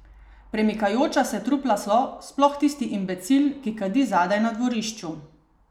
Premikajoča se trupla so, sploh tisti imbecil, ki kadi zadaj na dvorišču.